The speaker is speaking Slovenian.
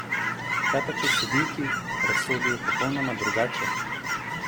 Kaj pa če sodniki razsodijo popolnoma drugače?